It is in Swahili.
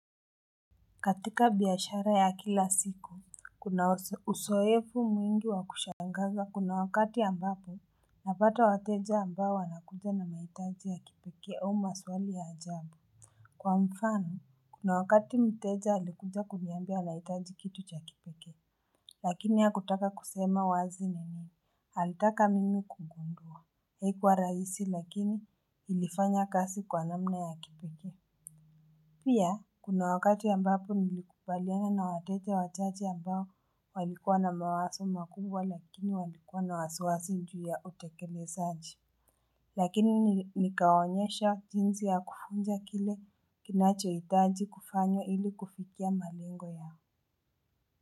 Katika biashara ya kila siku kuna uzoefu mwingi wa kushangaza kuna wakati ambapo napata wateja ambao wanakuja na mahitaji ya kipekee au maswali ya ajabu kwa mfano kuna wakati mteja alikuja kuniambia anahitaji kitu cha kipekee lakini hakutaka kusema wazi ni nini alitaka mimi kugundua haikuwa rahisi lakini ilifanya kazi kwa namna ya kipekee. Pia, kuna wakati ambapo nilikubaliana na wateja wachache ambao walikuwa na mawazo makubwa lakini walikuwa na wasiwasi juu ya utekelezaji. Lakini nikawonyesha jinsi ya kufunza kile kinachohitaji kufanywa ili kufikia malengo yao.